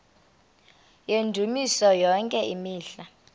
yendumiso yonke imihla